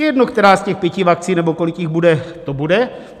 Je jedno, která z těch pěti vakcín, nebo kolik jich bude, to bude.